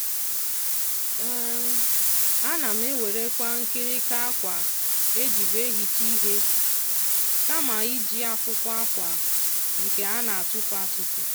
ọ na-anata um mmiri zoro ezo wụọ ya n'ogige ụlọ kama ị na-eji um ihe mgbapụta mmiri kwa ụbọchị. um